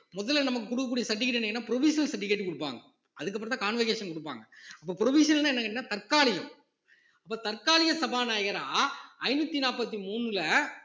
முதல்ல நமக்கு கொடுக்கக்கூடிய certificate என்னன்னா provisional certificate கொடுப்பாங்க அதுக்கு அப்புறம்தான் convocation கொடுப்பாங்க அப்ப provisional னா என்னன்னு கேட்டீங்கன்னா தற்காலிகம் அப்போ தற்காலிக சபாநாயகரா ஐந்நூத்தி நாற்பத்தி மூணுல